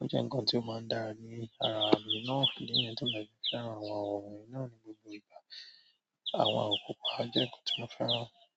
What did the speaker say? ó jẹ́ ǹkan tí ó máa ń dára ní ara mi náà. Idi niyẹn ti mo fi fẹ́ràn wọn oun náà ni gbogbo ìgbà. Àwọn àwọ̀ pupa jẹ́ ǹkan tí mo fẹ́ràn.